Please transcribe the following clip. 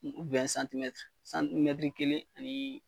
santimɛtiri kelen ani